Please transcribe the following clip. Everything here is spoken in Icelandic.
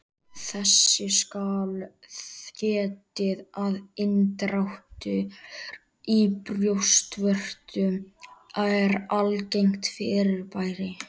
Þess skal getið að inndráttur í brjóstvörtum er algengt fyrirbæri.